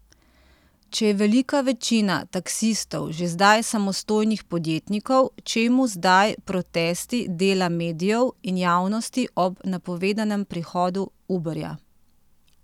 Če je velika večina taksistov že zdaj samostojnih podjetnikov, čemu zdaj protesti dela medijev in javnosti ob napovedanem prihodu Uberja?